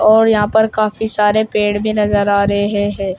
और यहां पर काफी सारे पेड़ भी नजर आ रहे हैं।